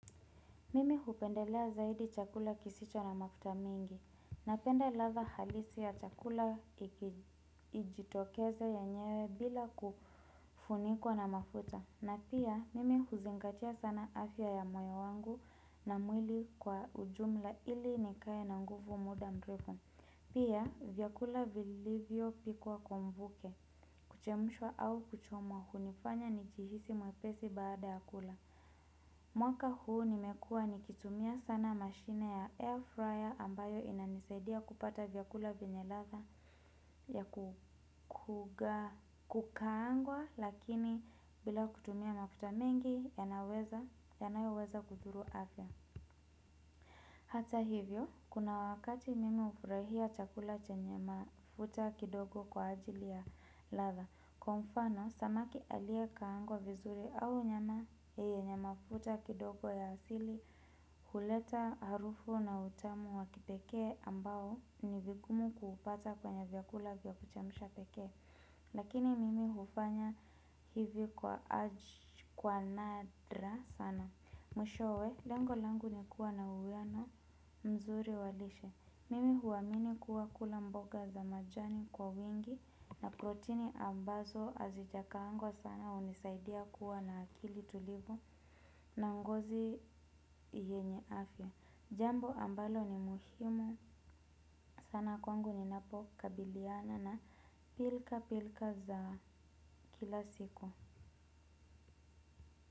Mimi hupendelea zaidi chakula kisicho na mafuta mingi, napenda ladha halisi ya chakula ikijitokeza yenyewe bila kufunikwa na mafuta, na pia mimi huzingatia sana afya ya moyo wangu na mwili kwa ujumla ili nikae na nguvu muda mrefu, pia vyakula vilivyopikwa kwa mvuke, kuchemshwa au kuchomwa hunifanya nijihisi mwepesi baada ya kula. Mwaka huu nimekua nikitumia sana mashine ya air fryer ambayo inanisaidia kupata vyakula vyenye ladha ya kukaangwa lakini bila kutumia mafuta mengi yanayoweza kudhuru afya. Hata hivyo, kuna wakati mimi hufurahia chakula chenye mafuta kidogo kwa ajili ya ladha. Kwa mfano, samaki aliyekaangwa vizuri au nyama yenye mafuta kidogo ya asili huleta harufu na utamu wa kipekee ambao ni vigumu kuupata kwenye vyakula vya kuchemsha pekee. Lakini mimi hufanya hivi kwa aj kwa nadra sana. Mwishowe, lengo langu ni kuwa na uwiano mzuri wa lishe. Mimi huamini kuwa kula mboga za majani kwa wingi na protini ambazo hazijakaangwa sana hunisaidia kuwa na akili tulivu na ngozi yenye afya. Jambo ambalo ni muhimu sana kwangu ninapo kabiliana na pilka pilka za kila siku.